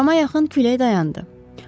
Axşama yaxın külək dayandı.